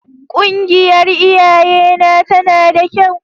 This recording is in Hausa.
Ƙungiyar iyayena tana da kyau.